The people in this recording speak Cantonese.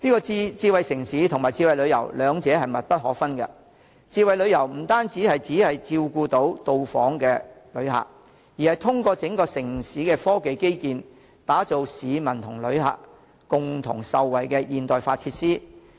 智慧城市與智慧旅遊兩者密不可分，智慧旅遊不但照顧訪港旅客，更通過整個城市的科技基建，打造市民和旅客共同受惠的現代化設施。